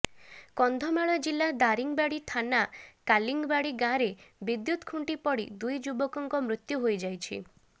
କନ୍ଧମାଳ ଜିଲ୍ଲା ଦାରିଙ୍ଗିବାଡ଼ି ଥାନା କାଲିଙ୍ଗବାଡ଼ି ଗାଁରେ ବିଦ୍ୟୁତ ଖୁଣ୍ଟି ପଡ଼ି ଦୁଇ ଯୁବକଙ୍କ ମୃତ୍ୟୁ ହୋଇଯାଇଛି